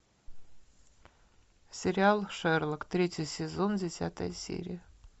сериал шерлок третий сезон десятая серия